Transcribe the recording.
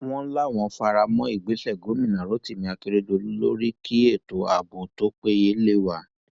wọn láwọn fara mọ ìgbésẹ gómìnà rotimi akeredolu lórí kí ètò ààbò tó péye lé wa